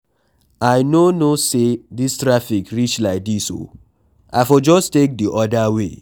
I no know say dis traffic reach like dis oo, I for just take the other way